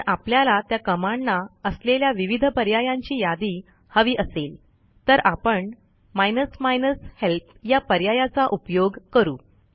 जर आपल्याला त्या Commandना असलेल्या विविध पर्यायांची यादी हवी असेल तर आपण माइनस हेल्प या पर्यायाचा उपयोग करू